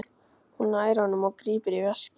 Hún nær honum og grípur í veskið.